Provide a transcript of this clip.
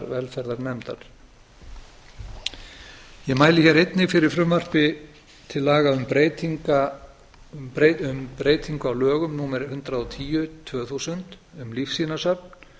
velferðarnefndar ég mæli hér einnig fyrir frumvarpi til laga um breytingu á lögum númer hundrað og tíu tvö þúsund um lífsýnasöfn